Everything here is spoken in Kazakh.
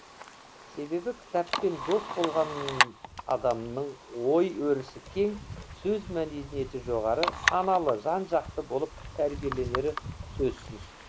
себебі кітаппен дос болғанадамның ой өрісі кең сөз мәдениеті жоғары саналы жан жақты болып тәрбиеленері сөзсіз